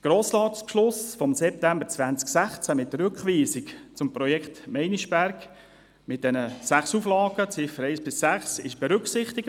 Der Grossratsbeschluss vom September 2016 mit der Rückweisung des Projekts Meinisberg und den sechs Auflagen, Ziffern 1–6, wird mit diesem Projekt berücksichtigt.